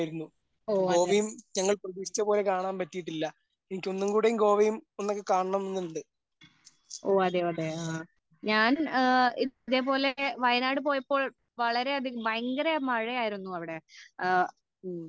ഓ അതേ ഓ അതേ അതേ ആ ഞാൻ ഇതേ പോലെ വയനാട് പോയപ്പോൾ വളരെ അതികം ഭയങ്കര മഴ ആയിരുന്നു അവിടെ ആ